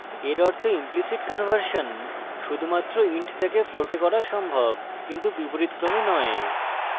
এর অর্থ implicit conversion শুধুমাত্র int থেকে float a করা সম্ভব কিন্তু বিপরীতক্রমে নয়